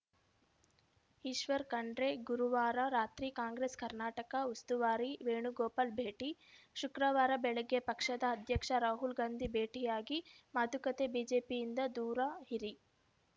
ಈಶ್ವರ್‌ ಖಂಡ್ರೆ ಗುರುವಾರ ರಾತ್ರಿ ಕಾಂಗ್ರೆಸ್‌ ಕರ್ನಾಟಕ ಉಸ್ತುವಾರಿ ವೇಣುಗೋಪಾಲ್‌ ಭೇಟಿ ಶುಕ್ರವಾರ ಬೆಳಗ್ಗೆ ಪಕ್ಷದ ಅಧ್ಯಕ್ಷ ರಾಹುಲ್‌ ಗಾಂಧಿ ಭೇಟಿಯಾಗಿ ಮಾತುಕತೆ ಬಿಜೆಪಿಯಿಂದ ದೂರ ಇರಿ